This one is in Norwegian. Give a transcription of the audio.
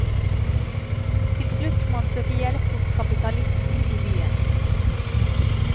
Til slutt må han søke hjelp hos kapitalisten i byen.